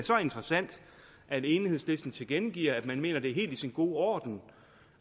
interessant at enhedslisten tilkendegiver at man mener at det er helt i sin orden